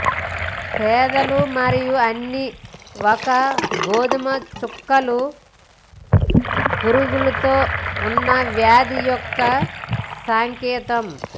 పెదాలు మరియు అన్ని ఒక గోధుమ చుక్కలు పురుగులు తో ఉన్న వ్యాధి యొక్క సంకేతం